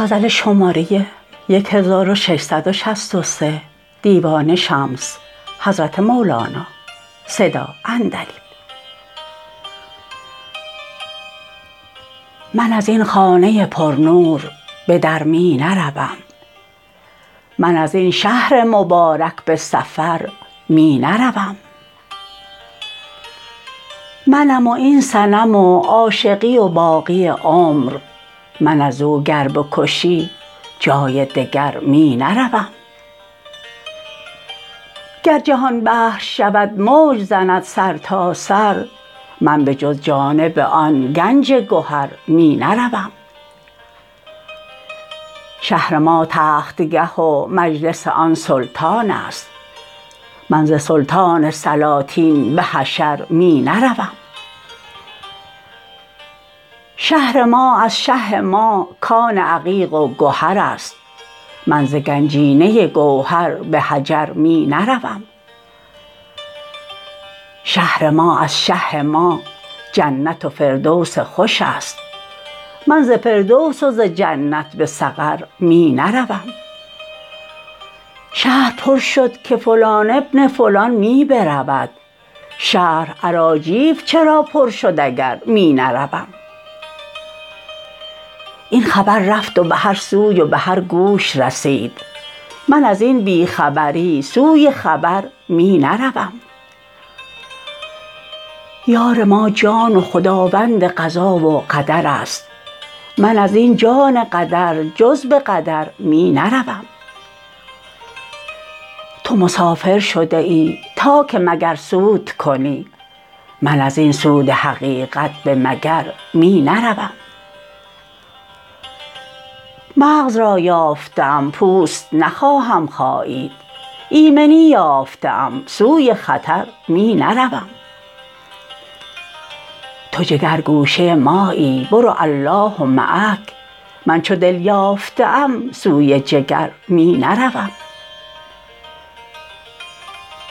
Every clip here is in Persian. من از این خانه پرنور به در می نروم من از این شهر مبارک به سفر می نروم منم و این صنم و عاشقی و باقی عمر من از او گر بکشی جای دگر می نروم گر جهان بحر شود موج زند سرتاسر من به جز جانب آن گنج گهر می نروم شهر ما تختگه و مجلس آن سلطان است من ز سلطان سلاطین به حشر می نروم شهر ما از شه ما کان عقیق و گهر است من ز گنجینه گوهر به حجر می نروم شهر ما از شه ما جنت و فردوس خوش است من ز فردوس و ز جنت به سقر می نروم شهر پر شد که فلان بن فلان می برود شهر اراجیف چرا پر شد اگر می نروم این خبر رفت به هر سوی و به هر گوش رسید من از این بی خبری سوی خبر می نروم یار ما جان و خداوند قضا و قدر است من از این جان قدر جز به قدر می نروم تو مسافر شده ای تا که مگر سود کنی من از این سود حقیقت به مگر می نروم مغز را یافته ام پوست نخواهم خایید ایمنی یافته ام سوی خطر می نروم تو جگرگوشه مایی برو الله معک من چو دل یافته ام سوی جگر می نروم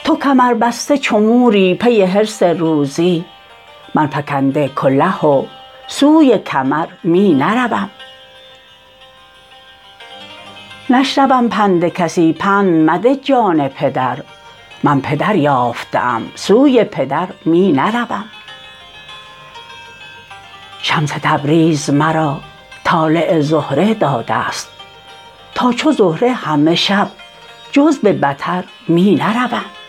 تو کمربسته چو موری پی حرص روزی من فکنده کله و سوی کمر می نروم نشنوم پند کسی پند مده جان پدر من پدر یافته ام سوی پدر می نروم شمس تبریز مرا طالع زهره داده ست تا چو زهره همه شب جز به بطر می نروم